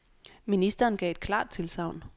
Ministeren gav et klart tilsagn.